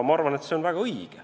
Ma arvan, et see on väga õige.